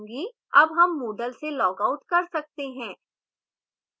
अब हम moodle से लॉगआउट कर सकते हैं